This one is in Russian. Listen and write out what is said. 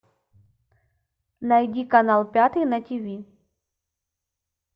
найди канал пятый на ти ви